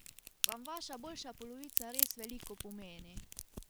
Vam vaša boljša polovica res veliko pomeni?